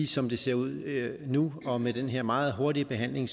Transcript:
som det ser ud nu og med den her meget hurtige behandling